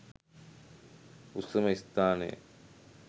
උසම ස්ථානය